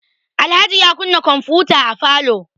Alhaji ya kunna kwamfuta a falo.